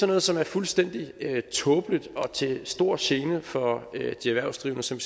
noget som er fuldstændig tåbeligt og til stor gene for de erhvervsdrivende som